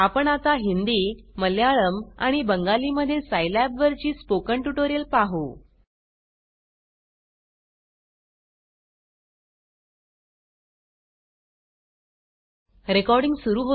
आपण आता हिंदी मल्याळम आणि बंगाली मध्ये सायलैबवरची स्पोकन ट्युटोरियल पाहू